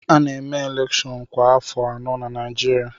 A na-eme elèkshón kwa afọ anọ na Naịjirịa